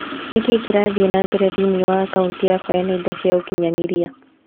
Nĩ kĩĩ kĩrathiĩ na mbere thĩinĩ wa akaunti yakwa ya nenda cia ũkĩnyaniria?